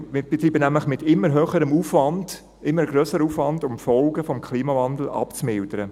Wir betreiben nämlich mit immer höherem Aufwand einen immer grösseren Aufwand, um die Folgen des Klimawandels abzumildern.